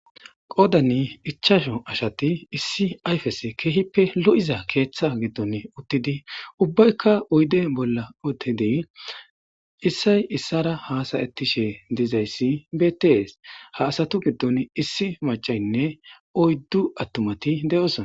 qoodani ichasho ashati issi ayfes keehippe lo7iza keeththa giddon uttidi ubbaykka oyde bolla otidi issay issara hasayettishe dizayssi beettees ha asatu giddon issi macaynne oyddu attumati de7osona